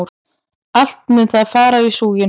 Allt mun það fara í súginn!